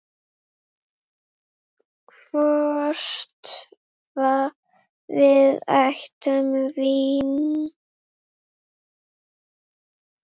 Hvort við ættum vín?